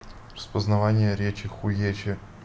распознавание речи хуече